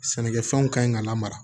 Sɛnɛkɛfɛnw ka ɲi ka lamara